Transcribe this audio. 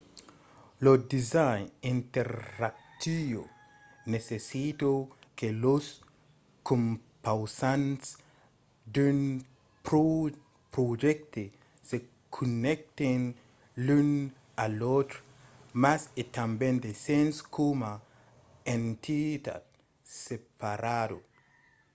lo design interactiu necessita que los compausants d’un projècte se connècten l’un a l’autre mas a tanben de sens coma entitat separada